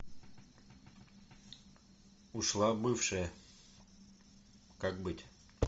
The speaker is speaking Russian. ушла бывшая как быть